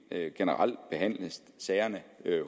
generelt skal behandle sagerne